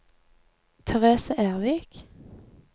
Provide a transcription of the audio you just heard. Therese Ervik